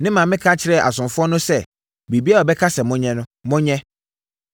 Ne maame ka kyerɛɛ asomfoɔ no sɛ, “Biribiara a ɔbɛka sɛ monyɛ no, monyɛ.”